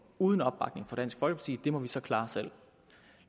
uden opbakning fra dansk folkeparti det må vi så klare selv